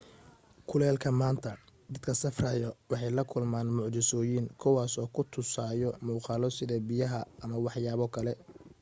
kuleelka maanta dadka safrayo waxay la kulmaan mucjisoyin kuwaas oo ku tusayo muqaalo sida biyaha ama wax yaabo kale